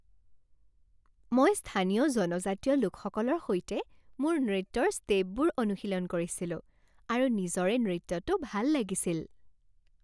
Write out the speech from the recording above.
মই স্থানীয় জনজাতীয় লোকসকলৰ সৈতে মোৰ নৃত্যৰ ষ্টেপবোৰ অনুশীলন কৰিছিলো আৰু নিজৰে নৃত্যটো ভাল লাগিছিল।